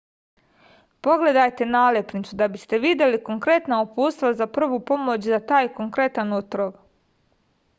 pogledajte nalepnicu da biste videli konkretna uputstva za prvu pomoć za taj konkretan otrov